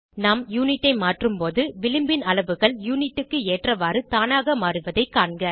நாம் யுனிட் ஐ மாற்றும் போது விளிம்பின் அளவுகள் யுனிட் க்கு ஏற்றவாறு தானாக மாறுவதைக் காண்க